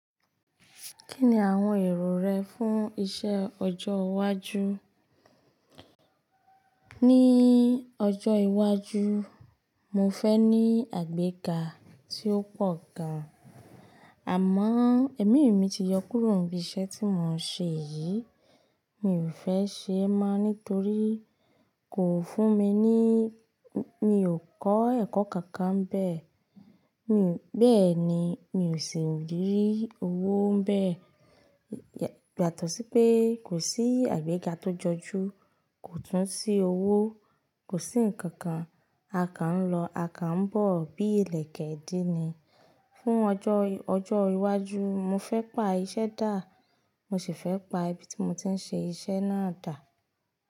Kí ni àwọn èrò rẹ fún iṣẹ́ ọjọ́ iwájú? Ní ọjọ́ iwájú, mo fẹ́ ní àgbẹ́ga tí ó pọ̀ gan, àmọ́ ẹ̀mí mi ti yọ kúrò ní iṣẹ́ tí mò ń ṣe yìí. Mi ò fẹ́ ṣe ẹ́ mọ́ nítorí kò fún mi ní-- mi ò kọ́ ẹ̀kọ́ kankan bẹ́ẹ̀. Mi bẹ́ẹ̀ ni, mi ò sì rí owó n bẹ́ẹ̀. Yato sí pé kò sí àgbẹ́ga tó jọjú, kò tún sí owó, kò sí ǹkankan. A kan ń lọ, a kan ń bọ̀ bí ilẹ̀kèèdí ni. Fún ọjọ́, ọjọ́ iwájú, mo fẹ́ pa iṣẹ́ dà, mo sì fẹ́ pa ibi tí mo ti ń ṣe iṣẹ́ náà dà.